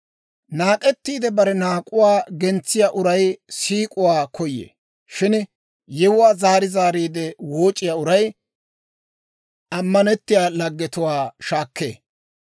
Naak'ettiide bare naak'uwaa gentsiyaa uray siik'uwaa koyee; shin yewuwaa zaari zaariide wooc'iyaa uray, ammanettiyaa laggetuwaa shaakkee.